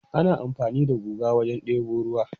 Ana amfani da guga wajen debo ruwa.